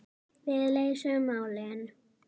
Við leysum málin.